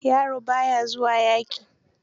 Yaro ba ya zuwa yaƙi.